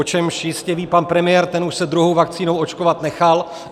O čemž jistě ví pan premiér, ten už se druhou vakcínou očkovat nechal.